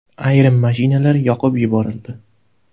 Ayrim mashinalar yoqib yuborildi.